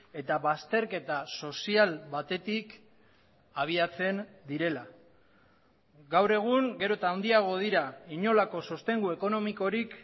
eta bazterketa sozial batetik abiatzen direla gaur egun gero eta handiago dira inolako sostengu ekonomikorik